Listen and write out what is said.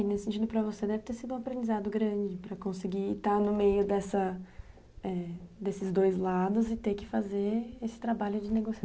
É, nesse sentido, para você deve ter sido um aprendizado grande para conseguir estar no meio dessa, desses dois lados e ter que fazer esse trabalho de